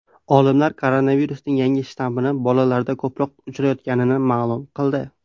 Olimlar koronavirusning yangi shtammi bolalarda ko‘proq uchrayotganini ma’lum qildi.